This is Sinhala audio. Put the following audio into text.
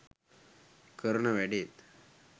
කරන වැඩෙත්.